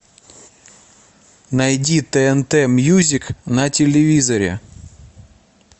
найди тнт мьюзик на телевизоре